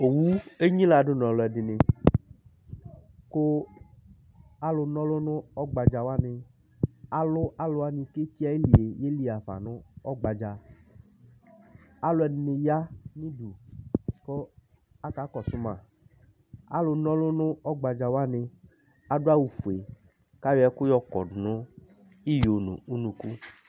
owu enyila do no ɔloɛdini ko alo n'ɔlò no ɔgbadza wani alo alowani k'eki ayilie yeli y'afa no ɔgbadza aloɛdini ya n'udu ko aka kɔso ma alo n'ɔlò no ɔgbadza wani ado awu fue k'ayɔ ɛko y'ɔkɔdo no iyo no unuku